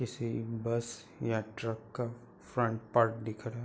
किसी बस या ट्रक का फ्रंट पार्ट दिख रहा --